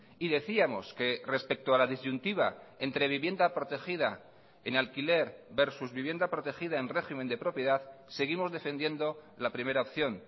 y decíamos que respecto a la disyuntiva entre vivienda protegida en alquiler versus vivienda protegida en régimen de propiedad seguimos defendiendo la primera opción